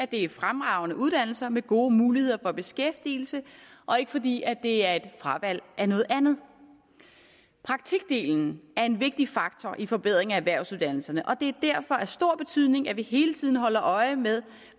det er fremragende uddannelser med gode muligheder for beskæftigelse og ikke fordi det er et fravalg af noget andet praktikdelen er en vigtig faktor i forbedringen af erhvervsuddannelserne og det er derfor af stor betydning at vi hele tiden holder øje med